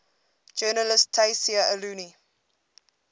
journalist tayseer allouni